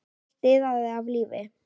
Allt iðaði af lífi.